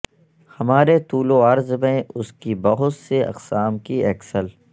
ہمارے طول و عرض میں اس کی بہت سے اقسام کی ایکسل